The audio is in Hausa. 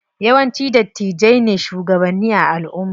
Yawanci dattijai ne shugabanni a alumma.